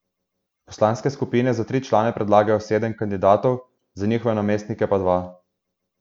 Poslanske skupine za tri člane predlagajo sedem kandidatov, za njihove namestnike pa dva.